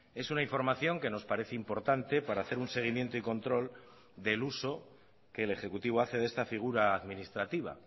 es una información que nos parece importante para hacer un seguimiento y control del uso que el ejecutivo hace de esta figura administrativa